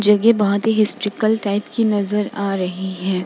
जगहे की बोहोत ही हिस्ट्रिकल टाइप की नजर आ रही है।